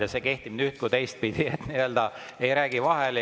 Ja see kehtib nii üht- kui teistpidi: ei räägi vahele.